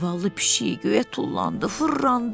Zavallı pişik göyə tullandı, fırlandı.